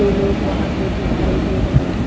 दो लोग वहाँ पे दिखाई दे रहे हैं।